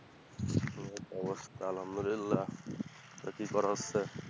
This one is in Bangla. এই তো অবস্থা, আলহামদুলিল্লাহ। তা কি করা হচ্ছে?